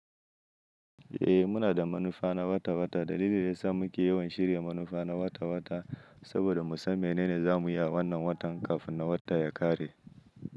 Eh muna da manufa na wata-wata. Dalilin da yasa muke yawan shirya manufa na wata-wata saboda mu san menene za mu yi a wannan watan kafin na wata ya ƙare.